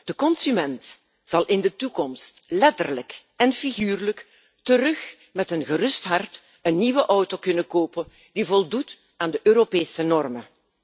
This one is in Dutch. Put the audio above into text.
De consument zal in de toekomst letterlijk en figuurlijk weer met een gerust hart een nieuwe auto kunnen kopen die voldoet aan de Europese normen.